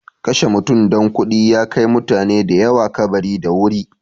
Kashe mutum don kuɗi ya kai mutane da yawa kabari da wuri.